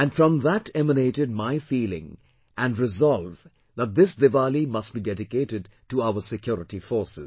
And from that emanated my feeling and resolve that this Diwali must be dedicated to our security forces